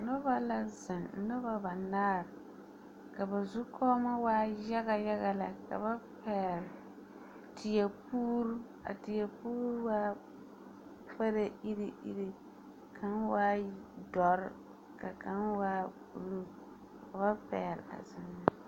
Noba la zeŋ, noba banaar, ka ba zukɔɔmɔ waa yaga yaga lɛ. Ka ba pɛgle teɛpuur, a teɛpuur waa parɛɛ iri iri , kaŋ waa dɔr ka kaŋ waa buluu, ka ba pɛgle a zeŋ ne.